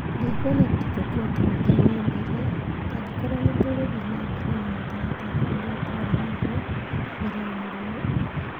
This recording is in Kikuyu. Ndikwona ta tũkũhota gũthiĩ na mbere. Akorwo nĩ tũgũthiĩ na mbere na mũtaratara ũrĩa twarĩ naguo mbere ya mũrimũ ũyũ.